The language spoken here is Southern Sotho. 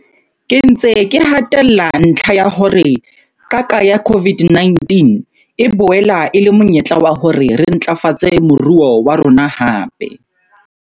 Ke ntse ke hatella ntlha ya hore qaka ya COVID-19 e boela e le monyetla wa hore re ntlafatse moruo wa rona hape.